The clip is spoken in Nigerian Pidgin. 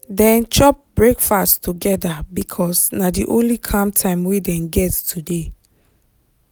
dem chop breakfast together because na the only calm time wey dem get today.